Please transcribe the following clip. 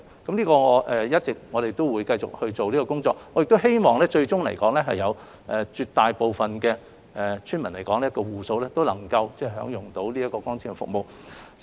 我們會一直繼續進行這方面的工作，我亦希望最終來說，絕大部分的村民都能夠享用光纖服務。